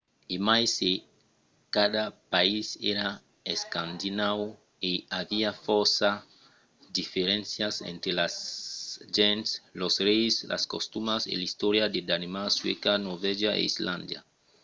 e mai se cada país èra 'escandinau' i aviá fòrça diferéncias entre las gents los reis las costumas e l’istòria de danemarc suècia norvègia e islàndia